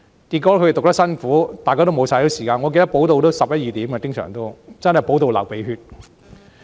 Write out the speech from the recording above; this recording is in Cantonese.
結果，他們讀得很辛苦，大家都沒有休息時間，經常補習到十一二時，真的補到流鼻血。